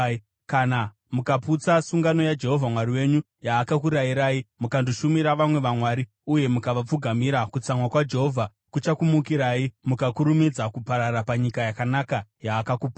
Kana mukaputsa sungano yaJehovha Mwari wenyu, yaakakurayirai, mukandoshumira vamwe vamwari uye mukavapfugamira kutsamwa kwaJehovha kuchakumukirai, mukakurumidza kuparara panyika yakanaka yaakakupai.”